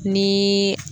Ni